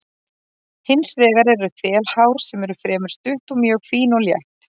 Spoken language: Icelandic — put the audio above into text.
Hins vegar eru þelhár sem eru fremur stutt og mjög fín og létt.